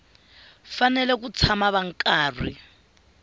fanele ku tshama va karhi